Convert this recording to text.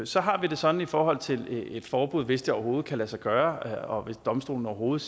så har vi det sådan i forhold til et forbud hvis det overhovedet kan lade sig gøre og hvis domstolene overhovedet